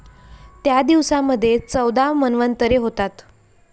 त्या दिवसामध्ये चौदा मन्वंतरे होतात.